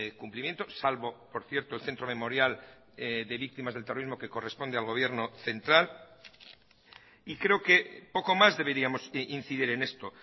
cumplimiento salvo por cierto el centro memorial de víctimas del terrorismo que corresponde al gobierno central y creo que poco más deberíamos incidir en esto